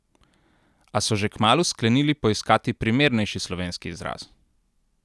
A so že kmalu sklenili poiskati primernejši slovenski izraz.